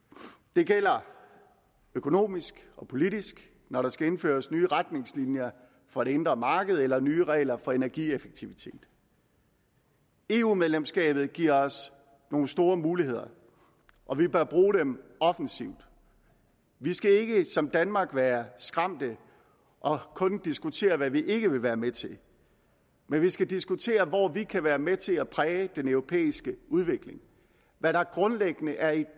det gælder økonomisk og politisk når der skal indføres nye retningslinjer for det indre marked eller nye regler for energieffektivitet eu medlemskabet giver os nogle store muligheder og vi bør bruge dem offensivt vi skal ikke som danmark være skræmte og kun diskutere hvad vi ikke vil være med til men vi skal diskutere hvor vi kan være med til at præge den europæiske udvikling hvad der grundlæggende er i